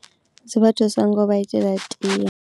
Dzi vha thusa nga u vha itela tie.